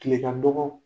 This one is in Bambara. Kile ka dɔgɔ